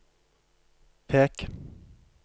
pek